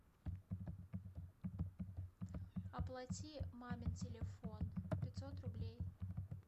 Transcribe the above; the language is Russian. оплати мамин телефон пятьсот рублей